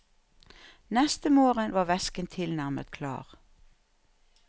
Neste morgen var væsken tilnærmet klar.